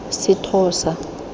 sethosa